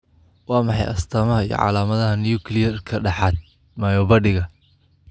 Waa maxay astamaha iyo calaamadaha nucleayarka dhahaad myobadigga?